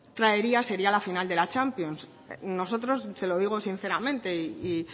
traería sería la final de la champions nosotros se lo digo sinceramente y